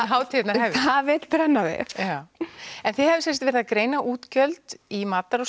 hátíðarnar hefjast það vill brenna við en þið hafið sem sagt verið að greina útgjöld í matar og